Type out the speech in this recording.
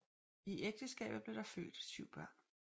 I ægteskabet blev der født syv børn